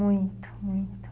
Muito, muito.